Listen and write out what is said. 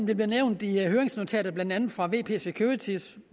der bliver nævnt i høringsnotatet blandt andet fra vp securities